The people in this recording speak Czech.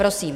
Prosím.